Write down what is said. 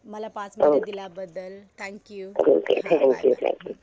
मला पाच मिनटं दिल्याबद्दल. थँक्यू.